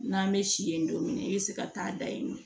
N'an bɛ si yen don min na i bɛ se ka taa da yen nɔ